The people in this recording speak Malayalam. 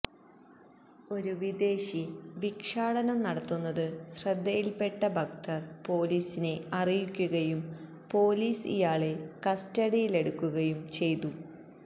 ഒരു വിദേശി ഭിക്ഷാടനം നടത്തുന്നത് ശ്രദ്ധയില്പ്പെട്ട ഭക്തര് പോലീസിനെ അറിയിക്കുകയും പോലീസ് ഇയാളെ കസ്റ്റഡിയിലെടുക്കുകയും ചെയ്തു